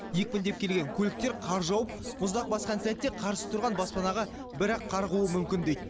екпіндеп келген көліктер қар жауып мұздақ басқан сәтте қарсы тұрған баспанаға бір ақ қарғуы мүмкін дейді